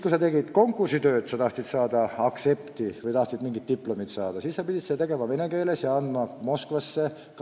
Kui sa tegid konkursitöö ja tahtsid saada aktsepti või mingit diplomit, siis sa pidid töö tegema vene keeles ja kaitsma seda Moskvas.